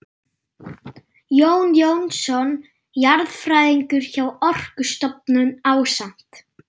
Jón Jónsson jarðfræðingur hjá Orkustofnun ásamt